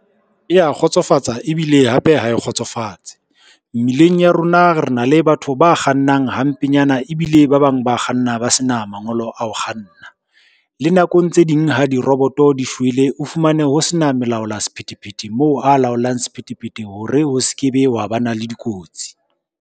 E ya kgotsofatsa ebile hape ha e kgotsofatse. Mmileng ya rona re na le batho ba kgannang hampenyana ebile ba bang ba kganna ba sena mangolo a ho kganna. Le nakong tse ding ha diroboto di shwele, o fumane ho sena molaola sephethephethe moo a laolang sephethephethe hore ho se ke be wa ba na le dikotsi.